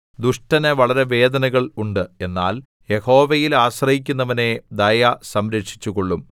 ദുഷ്ടന് വളരെ വേദനകൾ ഉണ്ട് എന്നാൽ യഹോവയിൽ ആശ്രയിക്കുന്നവനെ ദയ സംരക്ഷിച്ചുകൊള്ളും